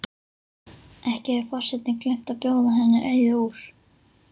Ekki hefur forsetinn gleymt að bjóða henni Auði úr